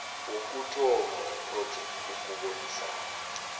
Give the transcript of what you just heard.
wokuthoma wepjec ukubonisana